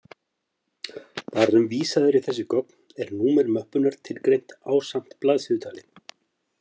Þar sem vísað er í þessi gögn, er númer möppunnar tilgreint ásamt blaðsíðutali.